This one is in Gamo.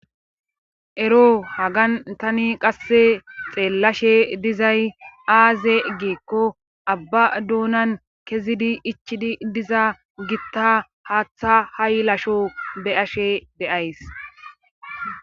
Ero hagan tani qasse xeellashe dizay aaze geekko abba duunan kezidi ichidi diza gitta haaththa haylasho be'ashe deyays.